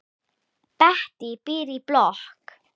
Bettý býr í blokk.